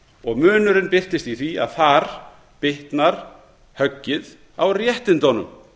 og munurinn birtist í því að þar bitnar höggið á réttindunum